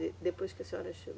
De, depois que a senhora chegou.